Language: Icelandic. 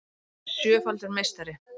Hann er sjöfaldur meistari